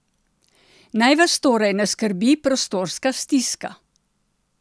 Naj vas torej ne skrbi prostorska stiska!